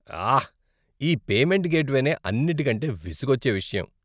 ఆహ్! ఈ పేమెంట్ గేట్వేనే అన్నిటికంటే విసుగొచ్చే విషయం.